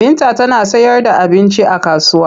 Binta tana sayarda abinci a kasuwa.